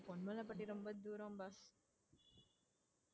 பொன்மலைப்பட்டி ரொம்ப தூரம் boss